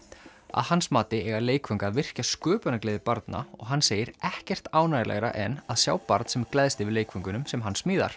að hans mati eiga leikföng að virkja sköpunargleði barna og hann segir ekkert ánægjulegra en að sjá barn sem gleðst yfir leikföngunum sem hann smíðar